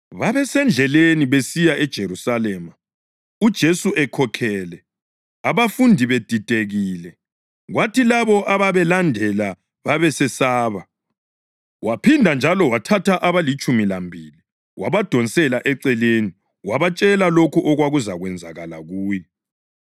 Babesendleleni besiya eJerusalema, uJesu ekhokhele, abafundi bedidekile, kwathi labo ababelandela babesesaba. Waphinda njalo wathatha abalitshumi lambili wabadonsela eceleni wabatshela lokho okwakuzakwenzakala kuye.